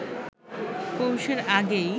পৌষের আগেই